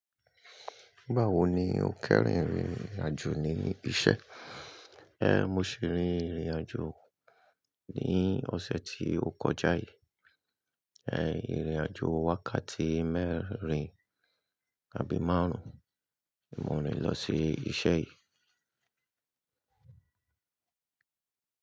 Báwo ni o kẹ́yìn ìrìnàjò ní iṣẹ́? Ẹ n, mo ṣi rin ìrìnàjò ní ọ̀sẹ̀ tí ó kọjá yìí. Ẹ n, ìrìnàjò wákàtí mẹ́rin àbí márùn-ún. Mo rin lọ sí iṣẹ́ yìí.